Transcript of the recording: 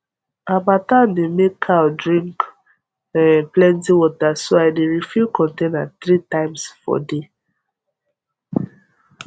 harmattan dey make cow drink plenty water so i dey refill container three times for day